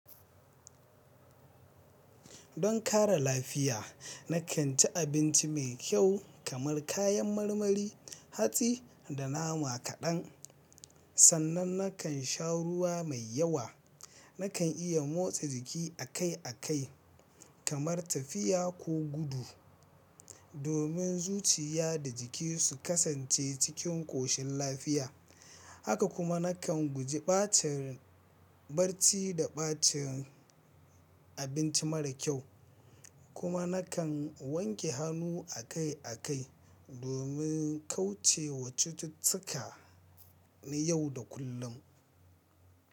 Don kare lafiya, na kan ci abinci mai kyau kamar kayan marmari, hatsi da nama kaɗan. Sannan na kan sha ruwa mai yawa. Na kan iya motsa jiki akai-akai, kamar tafiya ko gudu, domin zuciya da jiki su kasance cikin ƙoshin lafiya. Haka kuma na kan guji ɓacin rai barci da ɓacin abinci mara kyau. Kuma na kan wanke hannu akai-akai domin kauce wa cututtuka na yau da kullum.